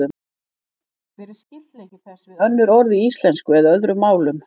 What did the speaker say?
Hver er skyldleiki þess við önnur orð í íslensku eða öðrum málum?